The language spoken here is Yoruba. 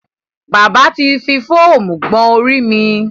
Bábà ti fi fóómú gbọn orí mi.